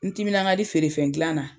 N timinan ka di feerefɛn dilan na.